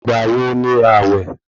Ìgbà wo ni àwẹ̀?